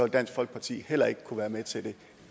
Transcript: dansk folkeparti heller ikke kunne være med til det